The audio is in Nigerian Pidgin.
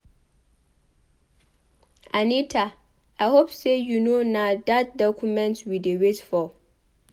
Anita I hope say you no na dat document we dey wait for.